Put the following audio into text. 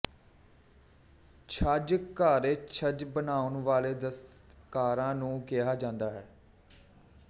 ਛੱਜ ਘਾੜੇਛੱਜ ਬਣਾਉਣ ਵਾਲੇ ਦਸਤਕਾਰਾਂ ਨੂੰ ਕਿਹਾ ਜਾਂਦਾ ਹੈ